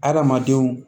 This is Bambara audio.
Adamadenw